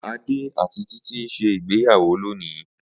Ade ati Titi n se ìgbéyàwọ́ lònii.